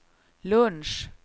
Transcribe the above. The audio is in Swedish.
lunch